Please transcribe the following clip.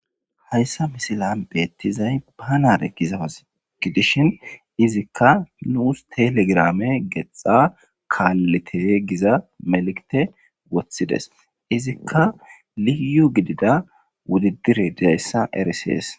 Haysa misilean betizi banan eqiza asai gidishin izakka nusi telegram qixa kalite giza melekite Wothides izakka liyu gidida wodudurey dizaysa erses